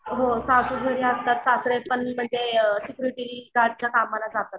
हो सासू घरी असतात सासरे पण कमला जातात.